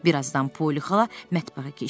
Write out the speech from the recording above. Birazdan Poli xala mətbəxə keçdi.